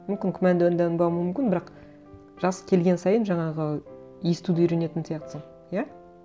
мүмкін мүмкін бірақ жас келген сайын жаңағы естуді үйренетін сияқтысың иә